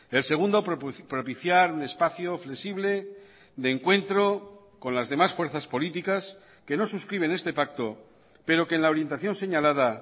el segundo propiciar un espacio flexible de encuentro con las demás fuerzas políticas que no suscriben este pacto pero que en la orientación señalada